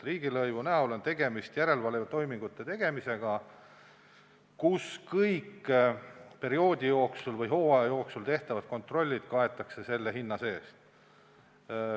Riigilõivu näol on tegemist järelevalvetoimingute tegemisega, kusjuures kõik perioodi jooksul või hooaja jooksul tehtavad kontrollid on selle hinna sees.